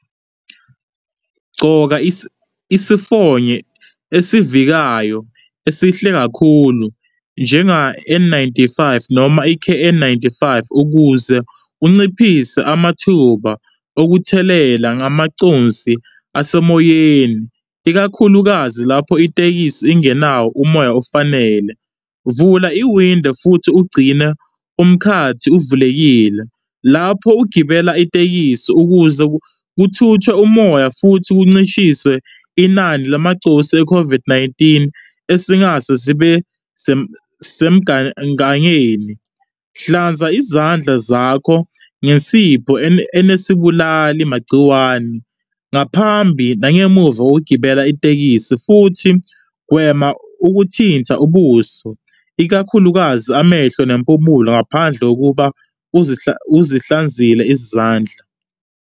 Gcoka isifonyo esivikayo esihle kakhulu njenga-N ninety five, noma i-K_N ninety five ukuze unciphise amathuba okuthelela ngamaconsi asemoyeni, ikakhulukazi lapho itekisi ingenawo umoya ofanele. Vula iwindo futhi ugcina umkhathi uvulekile lapho ugibela itekisi ukuze kuthuthwe umoya futhi kuncishiswe inani lamacosi e-COVID-19 esingase zibe semgangeni. Hlanza izandla zakho ngensipho enesibulalimagciwane ngaphambi nangemuva kokugibela itekisi, futhi gwema ukuthinta ubuso, ikakhulukazi amehlo, nempumulo. ngaphandle kokuba uzihlanzile izandla.